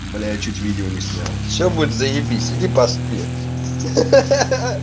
блять я чуть видео не снял все будет заебись иди поспи ха-ха-ха-ха-ха